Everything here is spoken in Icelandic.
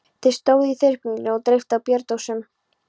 Þeir stóðu í þyrpingum og dreyptu á bjórdósum.